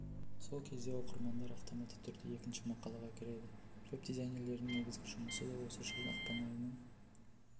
сол кезде оқырмандар автоматты түрде екінші мақалаға кіреді веб-дизайнерлерінің негізгі жұмысы да осы жылдың ақпан айының